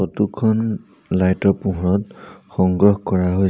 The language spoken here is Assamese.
ফটো খন লাইট ৰ পোহৰত সংগ্ৰহ কৰা হৈছ--